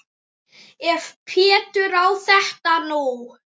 Ef Pétur á þetta nú.